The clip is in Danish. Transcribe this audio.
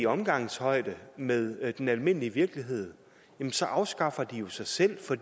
omgangshøjde med den almindelige virkelighed så afskaffer de jo sig selv for